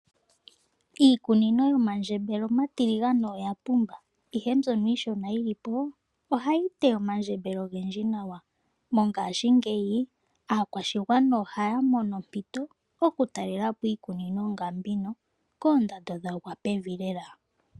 Iikunino yomandjembele omatiligane oya pumba, ihe mbyono iishona yi li po ohayi teya omandjembele ogendji nawa. Mongashingeyi aakwashigwana ohaya mono ompito oku talela po iikunino ngambino koondando dha gwa pevi lela.